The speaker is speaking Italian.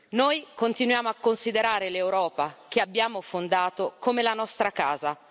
Noi continuiamo a considerare l'Europa, che abbiamo fondato, come la nostra casa.